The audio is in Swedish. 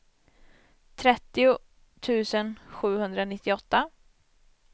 trettio tusen sjuhundranittioåtta